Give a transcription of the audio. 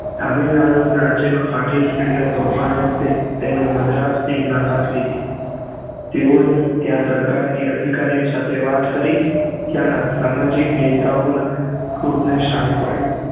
તમિલ નાડુ માં રાજ્ય માં ફાટી નીકળેલા તોફાન વખતે તેમને મદ્રાસ ની મદદ લીધી તેવોએ ત્યાં સરકાર ની અધ્કારીયો સાથે વાત કરી ત્યાં ના સામાજિક નેતાઓં ના ક્રોધ ને શાંત પાડ્યું